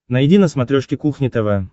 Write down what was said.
найди на смотрешке кухня тв